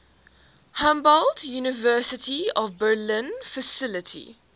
humboldt university of berlin faculty